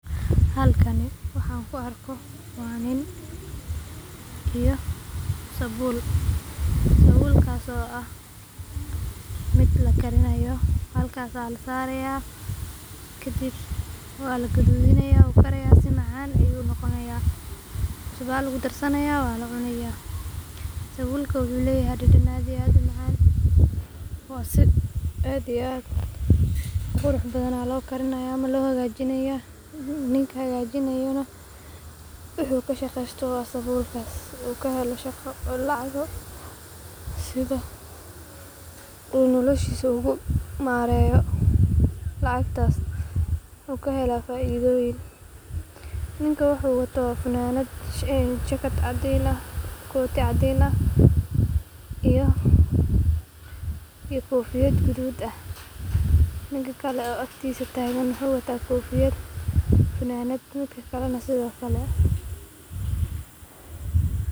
Halkani waxan ku arko wa nin iyo sabuul, Galleyda la dubay waa cunto dhaqameed si weyn looga qadariyo guud ahaan Soomaaliya, gaar ahaan xilliyada roobka marka dadka miyiga iyo magaalooyinka ay si wadajir ah ugu raaxaystaan dhadhanka macaan ee galley cusub oo si fiican loogu bisleeyay dab furan ama dubaab, taasoo inta badan lagu diyaariyo iyadoo la isticmaalo galley caan ah oo qaro weyn leh, la saaro bir ama dhoobo lagu dabo dabka, lagana ilaaliyo in si xad dhaaf ah u gubato si aysan u lumin dhadhankeeda dabiiciga ah, taasoo markaas dadka cunaya u keenta farxad gaar ah maadaama ay tahay cunto fudud oo dabiici ah, aan lahayn waxyaabo kiimiko ah, isla markaana caafimaad u leh jirka qofka, iyadoo lagu laqo biyo qabow ama shaah madow, taasoo laga helo suuqyada magaalooyinka waaweyn.